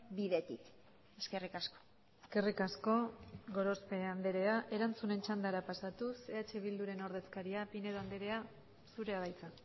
bidetik eskerrik asko eskerrik asko gorospe andrea erantzunen txandara pasatuz eh bilduren ordezkaria pinedo andrea zurea da hitza